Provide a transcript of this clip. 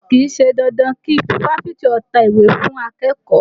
Kì í ṣe dandan kí fáfitì ta ìwé fún akẹ́kọ̀ọ́